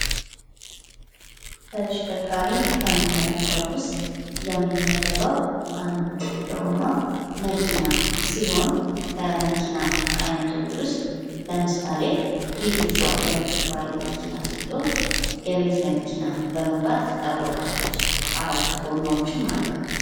ተሽከርካሪ ከምንላቸው ውስጥ የሚመደበው አንዱ የሆነው መኪና ሲሆን ከመኪና አይነቶች ውስጥ ለምሳሌ ቪጽ የምትባለው መኪና ስትሆን የቤት መኪና በመባል ትታወቃለች ።አራት ጎማዎችም አትሉት።